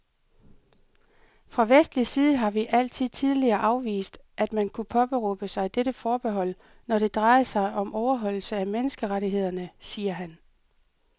Fra vestlig side har vi altid tidligere afvist, at man kunne påberåbe sig dette forbehold, når det drejede sig om overholdelse af menneskerettighederne, siger han.